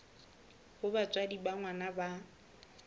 ha batswadi ba ngwana ba